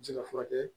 Ji ka furakɛ